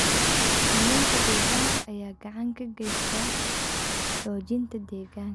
Kalluunka deegaanka ayaa gacan ka geysta xoojinta deegaanka.